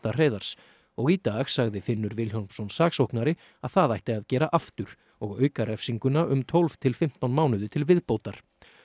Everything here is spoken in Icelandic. Hreiðars og í dag sagði Finnur Vilhjálmsson saksóknari að það ætti að gera aftur og auka refsinguna um tólf til fimmtán mánuði til viðbótar